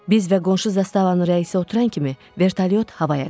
Biz və qonşu zastavanın rəisi oturan kimi vertolyot havaya qalxdı.